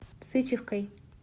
сычевкой